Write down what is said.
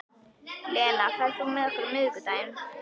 Lena, ferð þú með okkur á miðvikudaginn?